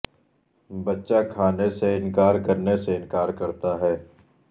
بچہ کھانے سے انکار کرنے سے انکار کرتا ہے